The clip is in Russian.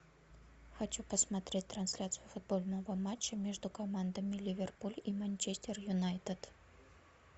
хочу посмотреть трансляцию футбольного матча между командами ливерпуль и манчестер юнайтед